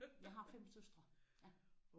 Jeg har 5 søstre ja